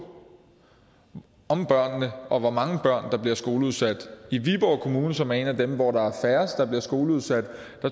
om børnene og hvor mange børn der bliver skoleudsat i viborg kommune som er en af dem hvor der er færrest der bliver skoleudsat